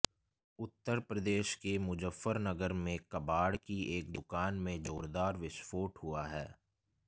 उत्तर प्रदेश के मुजफ्फरनगर में कबाड़ की एक दुकान में जोरदार विस्फोट हुआ है